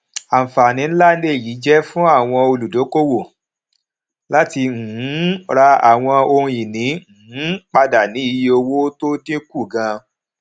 àǹfààní ńlá lèyí jé fún àwọn olùdókòwò láti um ra àwọn ohun ìní um padà ní iye owó tó dín kù ganan